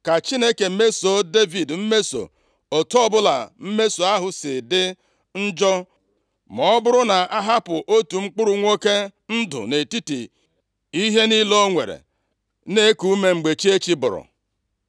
Ka Chineke mesoo Devid mmeso, otu ọbụla mmeso ahụ si dị njọ, ma ọ bụrụ na m ahapụ otu mkpụrụ nwoke ndụ nʼetiti ihe niile o nwere na-eku ume, mgbe chi echi bọrọ.”